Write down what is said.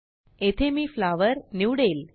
येथे मीflowerनिवडेल